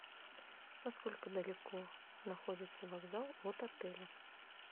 на сколько далеко находится вокзал от отеля